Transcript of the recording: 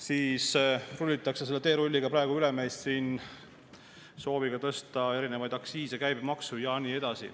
Siin rullitakse teerulliga praegu meist üle sooviga tõsta erinevaid aktsiise, käibemaksu ja nii edasi.